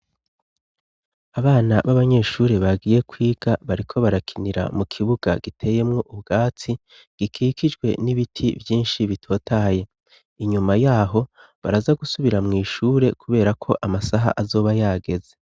Abana b'abanyeshuri bagiye kwiga bariko barakinira mu kibuga giteyemwo ubwatsi gikikijwe n'ibiti vyinshi bitotaye. Inyuma yaho, baraza gusubira mw'ishure kubera ko amasaha azoba yageze.